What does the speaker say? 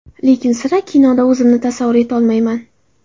Lekin sira kinoda o‘zimni tasavvur etolmayman.